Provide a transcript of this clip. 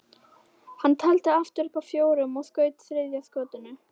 Hann taldi aftur upp að fjórum og skaut þriðja skotinu.